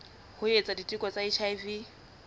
ho etsa diteko tsa hiv